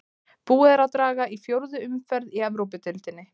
Búið er að draga í fjórðu umferð í Evrópudeildinni.